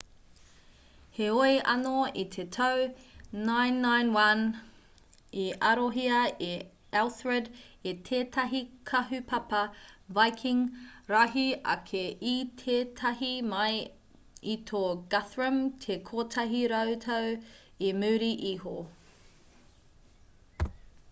heoi anō i te tau 991 i arohia a elthred e tētahi kahupapa viking rahi ake i tētahi mai i tō guthrum te kotahi rautau i muri iho